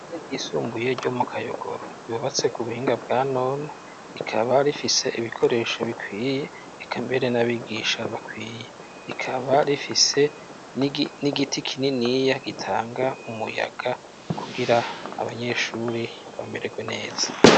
Ishure ry'isumbuye ryo mu kayogoro ryubatse ku buhinga bwa none rikaba rifise ibikoresho bikwiye ikambere n'abigisha bakwiye rikaba rifise n'igiti kininiya gitanga umuyaga kugira abanyeshuri bamererwe neza.